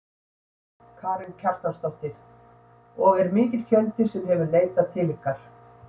Karen Kjartansdóttir: Og er mikill fjöldi sem hefur leitað til ykkar?